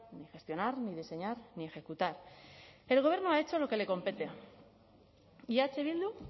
ni gestionar ni diseñar ni ejecutar el gobierno ha hecho lo que le compete y eh bildu